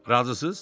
Razısınız?